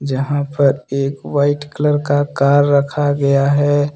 यहां पर एक वाइट कलर का कार रखा गया है।